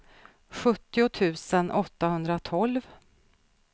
sjuttio tusen åttahundratolv